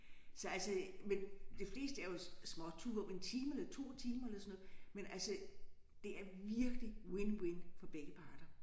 Så altså men det fleste er jo småture 1 time eller 2 timer eller sådan noget men altså det er virkelig win-win for begge parter